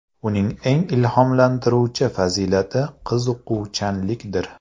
Uning eng ilhomlantiruvchi fazilati qiziquvchanlikdir.